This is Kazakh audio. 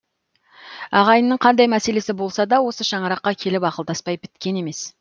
ағайынның қандай мәселесі болса да осы шаңыраққа келіп ақылдаспай біткен емес